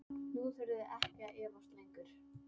Nú þurfið þið ekki að efast lengur.